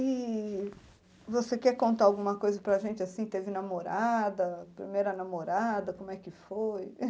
E você quer contar alguma coisa para a gente, assim, teve namorada, primeira namorada, como é que foi?